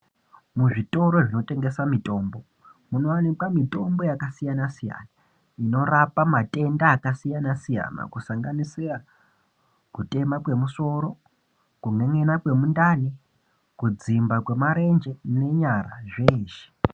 Muzvitoro zvinotengesa mitombo, munowanikwa mitombo yakasiyana siyana inorapa matenda akasiyana-siyana kusanganisira kutema kwemusoro kun'en'ena kwemundani, kudzimba kwemarenje nenyara zveshe.